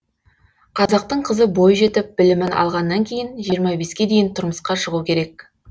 қазақтың қызы бой жетіп білімін алғаннан кейін жиырма беске дейін тұрмысқа шығу керек